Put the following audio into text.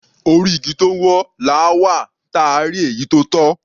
Orí igi tó wọ́, làá wà, táà rí èyí tó tọ́.